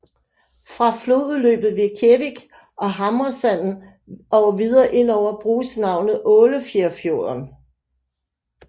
Fra flodudløbet ved Kjevik og Hamresanden og videre indover bruges navnet Ålefjærfjorden